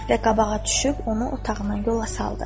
Və qabağa düşüb onu otağından yola saldı.